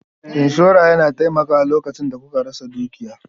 Inshora yana taimakawa lokacin da kuka rasa dukiya.